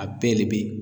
A bɛɛ de be